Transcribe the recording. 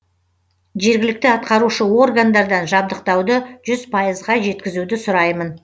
жергілікті атқарушы органдардан жабдықтауды жүз пайызға жеткізуді сұраймын